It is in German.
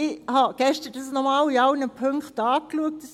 Ich habe dies gestern nochmals in allen Punkten angeschaut: